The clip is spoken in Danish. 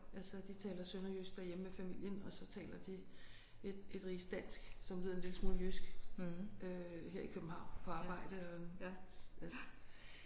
Altså de taler sønderjysk derhjemme med familien og så taler de et et rigsdansk som lyder en lille smule jysk øh her i København på arbejde og altså